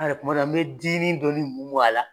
An yɛrɛ kuma dɔ an bɛ dinin dɔɔni mun mun a la.